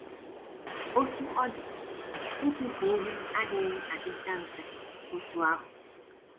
Otú ọ dị, ịtụfu ihe adịghị adịcha mfe otú ahụ.